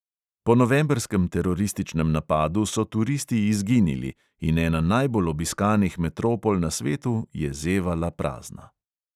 Po novembrskem terorističnem napadu so turisti izginili in ena najbolj obiskanih metropol na svetu je zevala prazna.